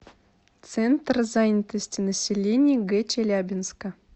центр занятости населения г челябинска